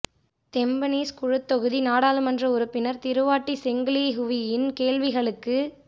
Tampines குழுத்தொகுதி நாடாளுமன்ற உறுப்பினர் திருவாட்டி செங் லீ ஹுவியின் கேள்விகளுக்கு